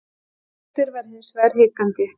Hildur var hins vegar hikandi.